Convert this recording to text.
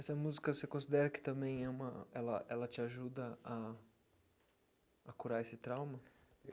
Essa música, você considera que também é uma... ela ela te ajuda a a curar esse trauma?